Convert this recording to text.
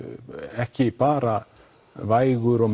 ekki bara vægur og